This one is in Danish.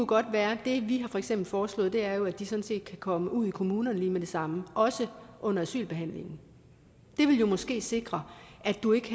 godt være det vi for eksempel har foreslået er at de sådan set kan komme ud i kommunerne lige med det samme også under asylbehandlingen det ville jo måske sikre at du ikke